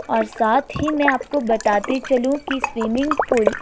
और साथ ही मैं आपको बताते चलूँं कि स्विमिंग पूल --